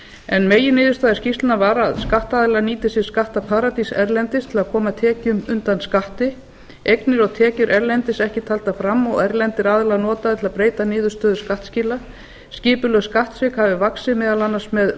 en meginniðurstaða skýrslunnar var að skattaðilar nýti sér skattaparadís erlendis til að koma tekjum undan skatti einnig eru tekjur erlendis ekki taldar fram og erlendir aðilar notaðir til að breyta niðurstöðu skattskila skipulag skattsvika hefur vaxið meðal annars með